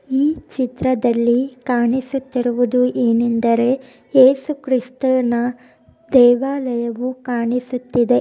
ಈ ಚಿತ್ರದಲ್ಲಿ ಕಾಣಿಸುತ್ತಿರುವುದೇನೆಂದರೆ ಯೇಸು ಕ್ರಿಸ್ತನ ದೇವಾಲಯವು ಕಾಣಿಸುತ್ತಿದೆ.